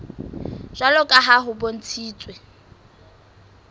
jwalo ka ha ho bontshitswe